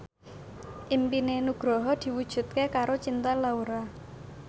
impine Nugroho diwujudke karo Cinta Laura